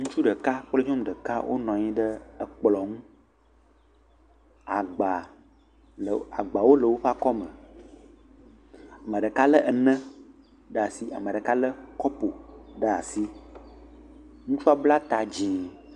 ŋutsu ɖeka kple nyɔŋu ɖeka wó nɔnyi ɖe kplɔ̃ ŋu agba agbawo le wóƒe akɔme meɖeka le ene ɖasi meɖeka le kɔpu ɖasi ŋutsua bla ta dzĩ